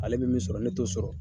Ale bi min sɔrɔ ne t'o sɔrɔ.